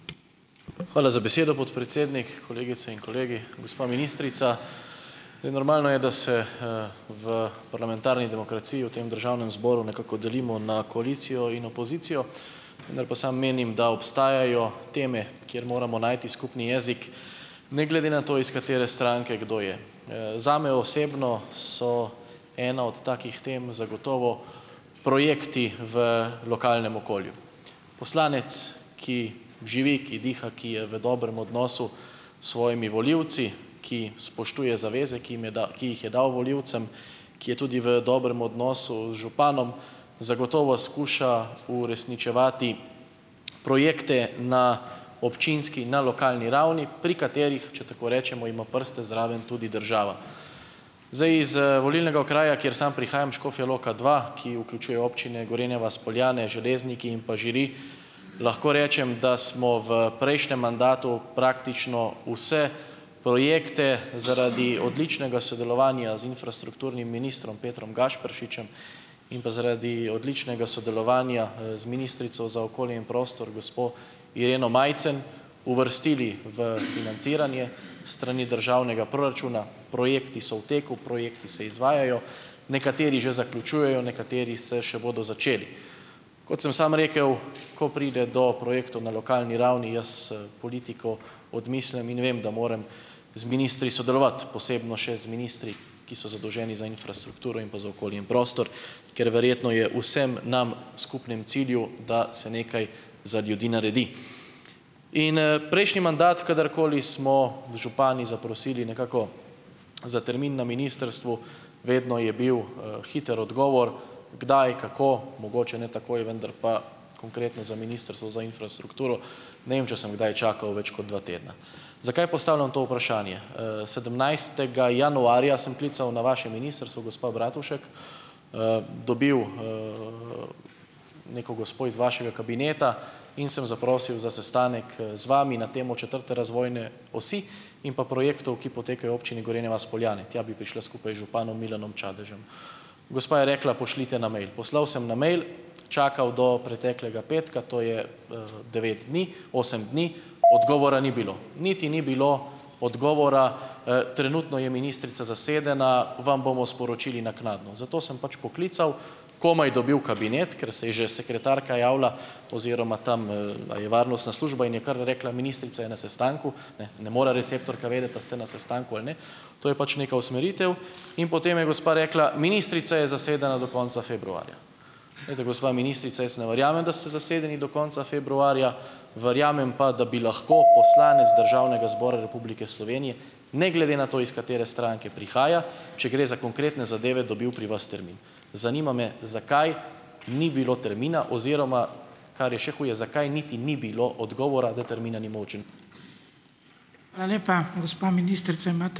Hvala za besedo, podpredsednik. Kolegice in kolegi! Gospa ministrica, zdaj normalno je, da se, v parlamentarni demokraciji v tem državnem zboru nekako delimo na koalicijo in opozicijo. Vendar pa samo menim, da obstajajo teme, kjer moramo najti skupni jezik ne glede na to, iz katere stranke kdo je. Zame osebno so ena od takih tem zagotovo projekti v lokalnem okolju. Poslanec, ki živi, ki diha, ki je v dobrem odnosu s svojimi volivci, ki spoštuje zaveze, ki jim je ki jih je dal volivcem, ki je tudi v dobrem odnosu z županom zagotovo skuša uresničevati projekte na občinski in na lokalni ravni pri katerih, če tako rečemo, ima prste zraven tudi država. Zdaj iz, volilnega okraja, kjer samo prihajam Škofja Loka dva, ki vključuje občine Gorenja vas, Poljane, Železniki in pa Žiri, lahko rečem, da smo v prejšnjem mandatu praktično vse projekte zaradi odličnega sodelovanja z infrastrukturnim ministrom Petrom Gašperšičem in pa zaradi odličnega sodelovanja, z ministrico za okolje in prostor gospo Ireno Majcen uvrstili v financiranje s strani državnega proračuna, projekti so v teku, projekti se izvajajo, nekateri že zaključujejo, nekateri se še bodo začeli. Kot sem samo rekel, ko pride do projektov na lokalni ravni, jaz, politiko odmislim in vem, da moram z ministri sodelovati, posebno še z ministri, ki so zadolženi za infrastrukturo in pa za okolje in prostor, ker verjetno je vsem nam v skupnem cilju, da se nekaj za ljudi naredi. In, prejšnji mandat kadarkoli smo z župani zaprosili nekako za termin na ministrstvu, vedno je bil, hitro odgovor kdaj, kako, mogoče ne takoj, vendar pa konkretno za ministrstvo za infrastrukturo, ne vem, če sem kdaj čakal več kot dva tedna. Zakaj postavljam to vprašanje? sedemnajstega januarja sem klical na vaše ministrstvo, gospa Bratušek, dobil, neko gospo iz vašega kabineta in sem zaprosil za sestanek, z vami na temo četrte razvojne osi in pa projektov, ki potekajo v občini Gorenja vas - Poljane, tja bi prišla skupaj z županom Milanom Čadežem. Gospa je rekla, pošljite na mail. Poslal sem na mail, čakal do preteklega petka, to je, devet dni, osem dni, odgovora ni bilo. Niti ni bilo odgovora, trenutno je ministrica zasedena, vam bomo sporočili naknadno. Zato sem pač poklical, komaj dobil kabinet, ker se je že sekretarka javila oziroma tam, a je varnostna služba in je kar rekla, ministrica je na sestanku. Ne, ne more receptorka vedeti, a ste na sestanku ali ne. To je pač neka usmeritev in potem je gospa rekla: "Ministrica je zasedena do konca februarja." Glejte, gospa ministrica, jaz ne verjamem, da ste zasedeni do konca februarja. Verjamem pa, da bi lahko poslanec Državnega zbora Republike Slovenije ne glede na to, iz katere stranke prihaja, če gre za konkretne zadeve, dobil pri vas termin. Zanima me, zakaj ni bilo termina, oziroma kar je še huje, zakaj niti ni bilo odgovora, da termina ni ...